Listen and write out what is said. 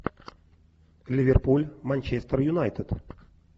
ливерпуль манчестер юнайтед